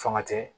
Fanga tɛ